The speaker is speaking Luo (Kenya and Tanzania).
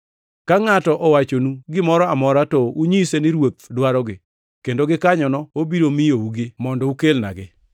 Ka ngʼato owachonu gimoro amora to unyise ni Ruoth dwarogi, kendo gikanyono obiro miyougi mondo ukelnagi.”